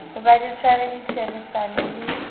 hoba le tshware ditherisano le